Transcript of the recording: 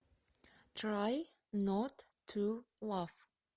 трай нот ту лав